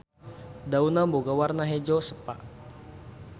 Daunna boga warna hejo sepa.